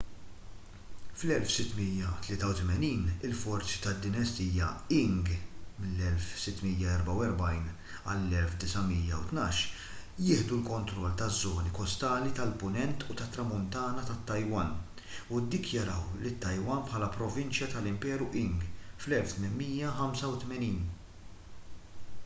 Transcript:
fl-1683 il-forzi tad-dinastija qing 1644-1912 jieħdu l-kontroll taż-żoni kostali tal-punent u tat-tramuntana tat-taiwan u ddikjaraw lit-taiwan bħala provinċja tal-imperu qing fl-1885